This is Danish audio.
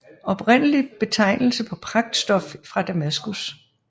Oprindeligt betegnelse på pragtstof fra Damaskus